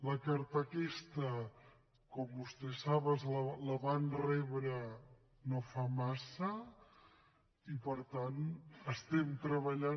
la carta aquesta com vostès saben la van rebre no fa massa i per tant hi estem treballant